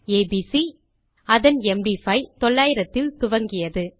ABC அதன் MD5 900 இல் துவங்கியது